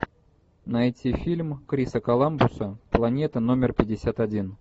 найти фильм криса коламбуса планета номер пятьдесят один